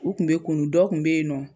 U kun be kunnun dɔ kun be yen nɔ